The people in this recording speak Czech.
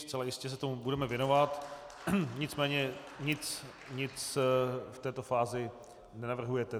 Zcela jistě se tomu budeme věnovat, nicméně nic v této fázi nenavrhujete.